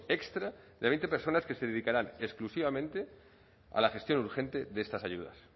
extra de veinte personas que se dedicarán exclusivamente a la gestión urgente de estas ayudas